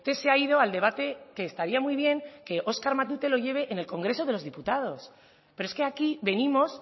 se ha ido al debate que estaría muy bien que óscar matute lo lleve en el congreso de los diputados pero es que aquí venimos